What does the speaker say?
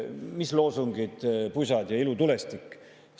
Mis loosungid, pusad ja ilutulestik?